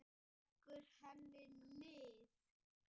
Leggur henni lið.